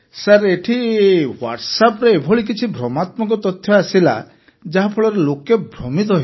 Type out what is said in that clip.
ସାର ଏଠି ହ୍ୱାଟ୍ସଆପ୍ରେ ଏଭଳି କିଛି ଭ୍ରମାତ୍ମକ ତଥ୍ୟ ଆସିଲା ଯାହାଫଳରେ ଲୋକେ ଭ୍ରମିତ ହୋଇଗଲେ ସାର୍